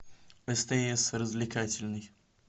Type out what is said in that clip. стс развлекательный